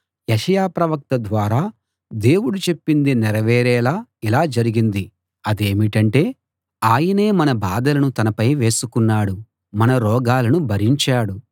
యెషయా ప్రవక్త ద్వారా దేవుడు చెప్పింది నెరవేరేలా ఇలా జరిగింది అదేమిటంటే ఆయనే మన బాధలను తనపై వేసుకున్నాడు మన రోగాలను భరించాడు